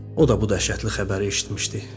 O da bu dəhşətli xəbəri eşitmişdi.